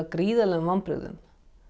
gríðarlegum vonbrigðum